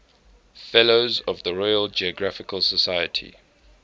fellows of the royal geographical society